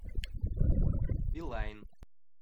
билайн